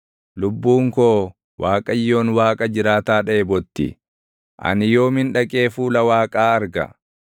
Lubbuun koo Waaqayyoon Waaqa jiraataa dheebotti. Ani yoomin dhaqee fuula Waaqaa arga?